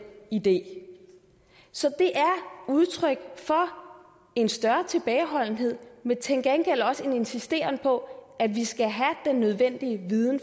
idé så det er udtryk for en større tilbageholdenhed men til gengæld også en insisteren på at vi skal have den nødvendige viden